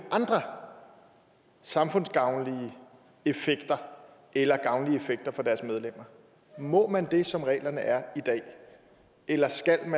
samfundsgavnlige effekter eller gavnlige effekter for dens medlemmer må man det som reglerne er i dag eller